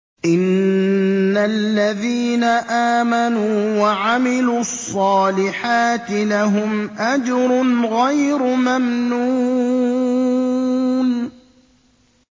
إِنَّ الَّذِينَ آمَنُوا وَعَمِلُوا الصَّالِحَاتِ لَهُمْ أَجْرٌ غَيْرُ مَمْنُونٍ